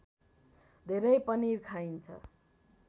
धेरै पनिर खाइन्छ